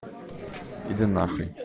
иди нахуй